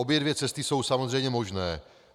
Obě dvě cesty jsou samozřejmě možné.